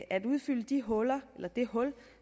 at udfylde det hul hul